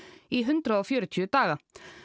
í hundrað og fjörutíu daga